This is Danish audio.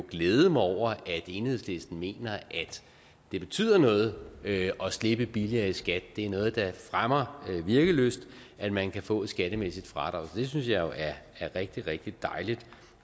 glæde mig over at enhedslisten mener det betyder noget at slippe billigere i skat det er noget der fremmer virkelyst at man kan få et skattemæssigt fradrag så det synes jeg jo er rigtig rigtig dejligt